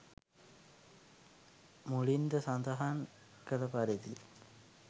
මුලින්ද සඳහන් කළ පරිදි